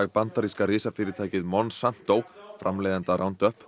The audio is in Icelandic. bandaríska risafyrirtækið Monsanto framleiðenda